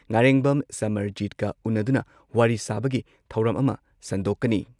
ꯅꯥꯔꯦꯡꯕꯝ ꯁꯃꯔꯖꯤꯠꯀ ꯎꯟꯅꯗꯨꯅ ꯋꯥꯔꯤ ꯁꯥꯕꯒꯤ ꯊꯧꯔꯝ ꯑꯃ ꯁꯟꯗꯣꯛꯀꯅꯤ ꯫